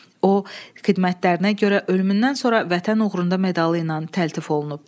O, xidmətlərinə görə ölümündən sonra Vətən uğrunda medalı ilə təltif olunub.